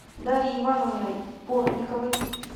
дарьей ивановной бортниковой